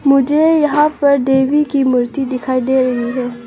मुझे यहां पर देवी की मूर्ति दिखाई दे रही है।